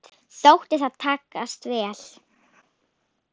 Þótti það takast vel.